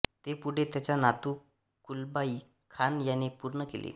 ते पुढे त्याचा नातु कुब्लाई खान याने पूर्ण केले